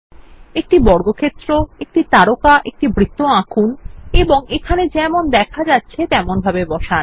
একটি বর্গাকার একটি তারকা একটি বৃত্ত আঁকুন এবং এখানে যেমন দেখা যাচ্ছে তেমনভাবে বসান